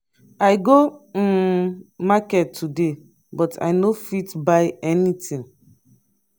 i go um market today but i no fit buy anything.